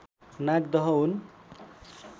नागदह हुन्